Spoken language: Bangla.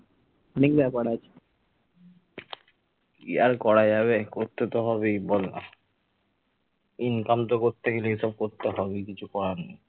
কি আর করা যাবে করতে তো হবেই বল না income তো করতে গেলে সবকিছুই তো করতে হবে কিছু করার নেই।